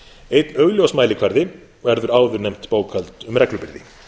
einn augljós mælikvarði verður áðurnefnt bókhald um reglubyrði